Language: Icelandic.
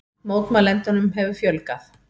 Mótmælendum hefur fjölgað